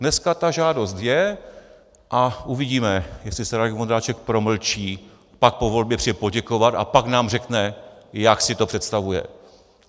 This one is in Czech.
Dneska ta žádost je a uvidíme, jestli se Radek Vondráček promlčí, pak po volbě přijde poděkovat a pak nám řekne, jak si to představuje.